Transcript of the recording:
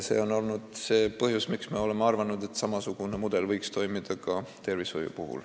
See on olnud see põhjus, miks me oleme arvanud, et samasugune mudel võiks toimida ka tervishoius.